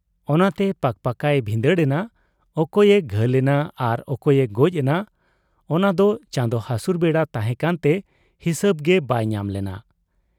ᱚᱱᱟᱛᱮ ᱯᱠᱯᱭᱮ ᱵᱷᱤᱸᱫᱟᱹᱲ ᱮᱱᱟ, ᱚᱠᱚᱭᱮ ᱜᱷᱟᱹᱞ ᱮᱱᱟ ᱟᱨ ᱚᱠᱚᱭᱮ ᱜᱚᱡ ᱮᱱᱟ ᱚᱱᱟᱫᱚ ᱪᱟᱸᱫᱚ ᱦᱟᱥᱩᱨ ᱵᱮᱲᱟ ᱛᱟᱦᱮᱸ ᱠᱟᱱᱛᱮ ᱦᱤᱥᱟᱹᱵᱽ ᱜᱮ ᱵᱟᱭ ᱧᱟᱢ ᱞᱮᱱᱟ ᱾